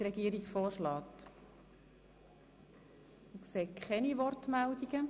– Ich sehe keine Wortmeldungen.